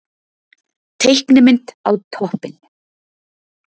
Teiknimynd á toppinn